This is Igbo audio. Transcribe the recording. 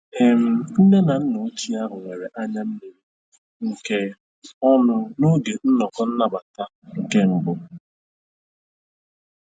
um Nne na nna ochie ahụ nwere anya mmiri nke um ọṅụ n'oge nnọkọ nnabata nke mbụ.